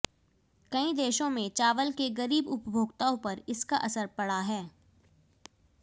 कई देशों में चावल के गरीब उपभोक्ताओं पर इसका असर पड़ा है